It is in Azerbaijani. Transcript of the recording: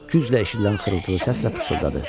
Güclə eşidilən xırıltılı səslə pıçıldadı: